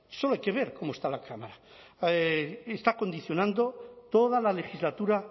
solo hay que ver cómo está la cámara está condicionando toda la legislatura